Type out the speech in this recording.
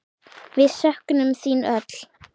Við söknum þín öll.